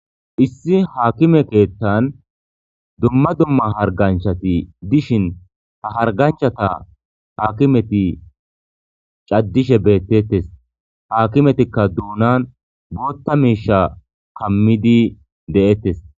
issi haakime keettan dumma dumma harganchati dishin ta harganchata haakimeti caddishe beettettes haakimetikka duunan bootta meisha kammidi de7ettes